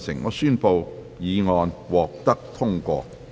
我宣布議案獲得通過。